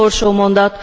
Utolsó mondat.